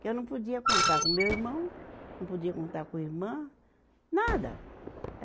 Que eu não podia contar com meu irmão, não podia contar com irmã, nada.